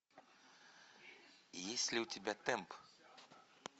есть ли у тебя темп